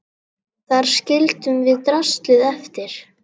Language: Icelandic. Þar skildum við draslið eftir.